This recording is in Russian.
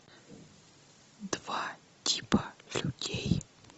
два типа людей